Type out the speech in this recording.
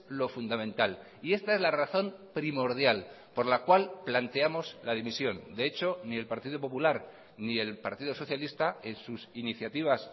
lo fundamental y esta es la razón primordial por la cual planteamos la dimisión de hecho ni el partido popular ni el partido socialista en sus iniciativas